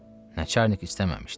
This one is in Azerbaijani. Nəçarnik istəməmişdi.